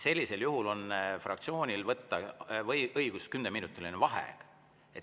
Sellisel juhul on fraktsioonil õigus võtta kümneminutiline vaheaeg.